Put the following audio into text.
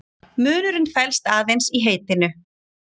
Munurinn felst aðeins í heitinu.